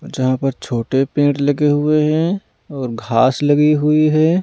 जहाँ पर छोटे पेड़ लगे हुए हैं और घास लगी हुई है।